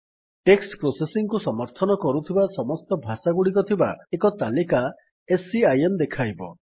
text processing କୁ ସମର୍ଥନ କରୁଥିବା ସମସ୍ତ ଭାଷାଗୁଡିକ ଥିବା ଏକ ତାଲିକା ସିଆଇଏମ୍ ଦେଖାଇବ